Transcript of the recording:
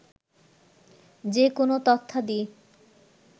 যেকোন তথ্যাদি